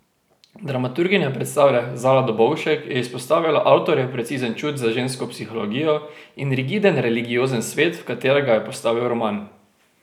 Dramaturginja predstave Zala Dobovšek je izpostavila avtorjev precizen čut za žensko psihologijo in rigiden religiozen svet, v katerega je postavil roman.